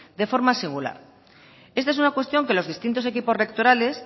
de forma singular esta es una cuestión que los distintos equipos rectorales